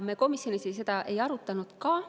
Me komisjonis seda ei arutanud ka.